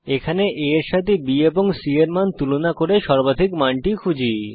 এখানে a এর সাথে b এবং c এর মান তুলনা করে সর্বাধিক মানটি খুঁজি